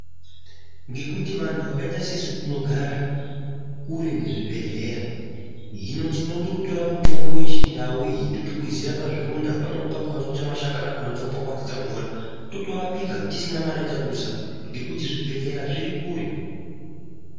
Ngekuti vanhu vakaita sesu tinogara kure nezvibhehlera hino tinototora mitombo yechindau iyi totokwizira pazvironda pamweni pakona totora mashakani akona tokwakwatidza mumvura totorapika tisina mare yatadusa ngekuti zvibhehlerya zviri kure.